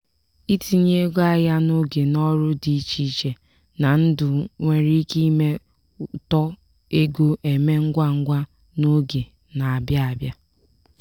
itinye ego ahịa n'oge n'ọrụ dị iche iche na ndụ nwere ike ime uto ego emee ngwa ngwa n'oge na-abịa abịa.